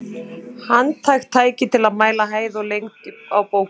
Handhægt tæki til að mæla hæð og lengd á bókum.